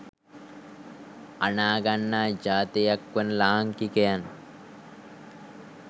අනාගන්නා ජාතියක් වන ලාංකිකයන්